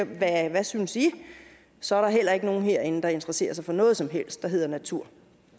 hvad synes i og så er der heller ikke nogen herinde der interesserer sig for noget som helst der hedder natur